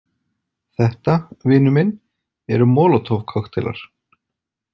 Þetta, vinur minn, eru molotov- kokkteilar.